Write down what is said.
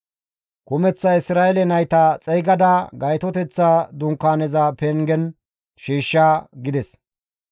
Kumeththa Isra7eele nayta xeygada Gaytoteththa Dunkaaneza pengen shiishsha» gides.